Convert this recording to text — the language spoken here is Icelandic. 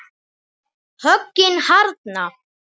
Höggin harðna.